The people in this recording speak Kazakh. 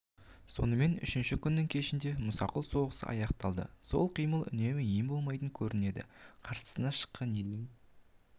сонымен үшінші күннің кешінде мұсақұл соғысы аяқталды қол қимылы үнемі ем болмайтыны көрінді қарсысына шыққан елдің